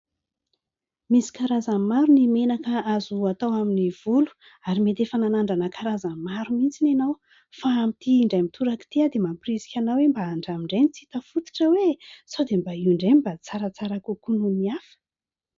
Misy karazany maro ny menaka azo hatao amin'ny volo ary mety efa nanandrana karazany maro mihitsy ianao, fa amin'ity indray mitoraka ity dia mampirisika anao hoe mba handramo indray ny tsy hita fototra hoe sao dia mba io indray mba tsaratsara kokoa noho ny hafa.